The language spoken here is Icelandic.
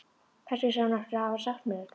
Kannski sá hún eftir að hafa sagt mér þetta.